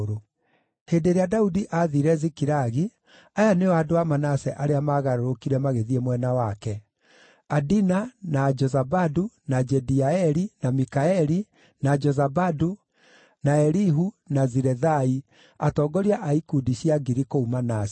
Hĩndĩ ĩrĩa Daudi aathiire Zikilagi, aya nĩo andũ a Manase arĩa maagarũrũkire magĩthiĩ mwena wake: Adina, na Jozabadu, na Jediaeli, na Mikaeli, na Jozabadu, na Elihu, na Zilethai, atongoria a ikundi cia ngiri kũu Manase.